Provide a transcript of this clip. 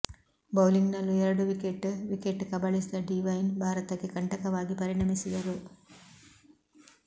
ಬೌಲಿಂಗ್ನಲ್ಲೂ ಎರಡು wicket wicket ಕಬಳಿಸಿದ Devine ಭಾರತಕ್ಕೆ ಕಂಟಕವಾಗಿ ಪರಿಣಮಿಸಿದರು